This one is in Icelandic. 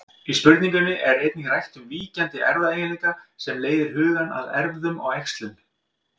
Í spurningunni er einnig rætt um víkjandi erfðaeiginleika sem leiðir hugann að erfðum og æxlun.